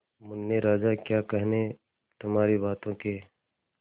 मुन्ने राजा क्या कहने तुम्हारी बातों के